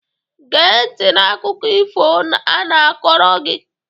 Gee ntị n'akụkọ if ọ na-akọrọ gị!